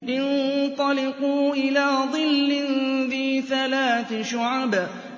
انطَلِقُوا إِلَىٰ ظِلٍّ ذِي ثَلَاثِ شُعَبٍ